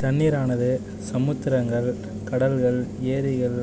தண்ணீரானது சமுத்திரங்கள் கடல்கள் ஏரிகள்